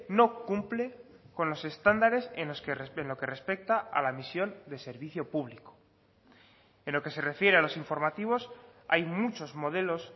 no cumple con los estándares en lo que respecta a la misión de servicio público en lo que se refiere a los informativos hay muchos modelos